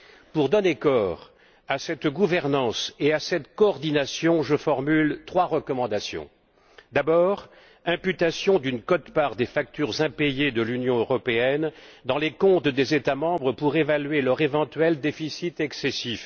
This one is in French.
Pour donner corps à cette gouvernance et à cette coordination, je formule trois recommandations D'abord, l'imputation d'une quote part des factures impayées par l'Union européenne dans les comptes des États membres pour évaluer leur éventuel déficit excessif.